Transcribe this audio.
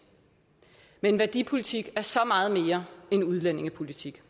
men værdipolitik er så meget mere end udlændingepolitik